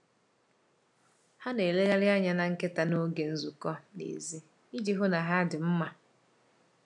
Ha na-elegharị anya na nkịta n’oge nzukọ n’èzí iji hụ na ha dị mma.